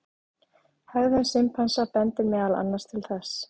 Hegðun simpansa bendir meðal annars til þess.